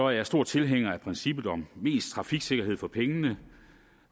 jeg stor tilhænger af princippet om mest trafiksikkerhed for pengene